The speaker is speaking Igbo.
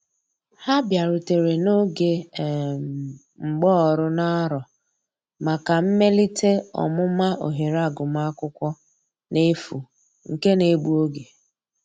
Ha biarutere n'oge um mgbaọrụ n'arọ maka mmelite ọmụma ohere agụma akwụkwo n'efu nke na egbụ oge.